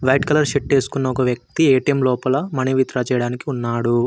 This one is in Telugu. వైట్ కలర్ షర్ట్ వేసుకున్న ఒక వ్యక్తి ఏ_టీ_ఎం లోపల మనీ విత్ డ్రా చేయడానికి ఉన్నాడు.